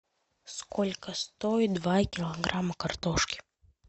сколько стоит два килограмма картошки